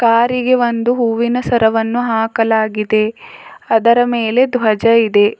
ಕಾರಿಗೆ ಒಂದು ಹೂವಿನ ಸರವನ್ನು ಹಾಕಲಾಗಿದೆ ಅದರ ಮೇಲೆ ಧ್ವಜ ಇದೆ.